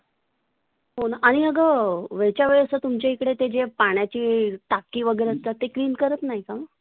आणि आग वेळच्या वेळी तुमच्या इकडे जे पाण्याची टाकी वगैरे असतात ते clean करत नाही का?